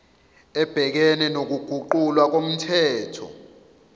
ebhekene nokuguqulwa komthetho